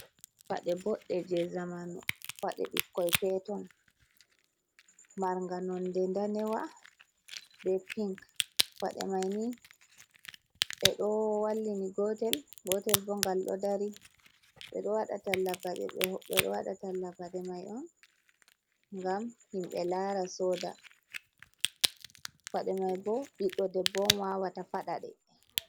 Paɗe boɗɗe jee ɓikkon peeton, marga nonde daneewa bee pink. Paɗe mai ni, ɓe ɗo wallini gootel, gootel bo gal ɗo dari. Ɓe ɗo waɗa talla paɗe, ɓe ɗo waɗa talla paɗe mai on gam yimɓe laara sooda. Paɗe mai bo ɓiɗɗo debbo on waawata faɗaɗe.